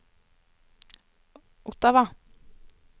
Ottawa